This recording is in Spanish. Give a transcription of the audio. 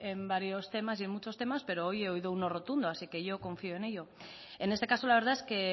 en varios temas y en muchos temas pero hoy he oído un no rotundo así que yo confío en ello en este caso la verdad es que